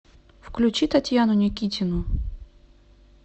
включи татьяну никитину